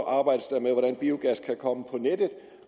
arbejdes der med hvordan biogas kan komme på nettet